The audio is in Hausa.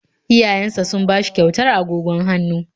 Iyayensa sun ba shi kyautar agogon hannu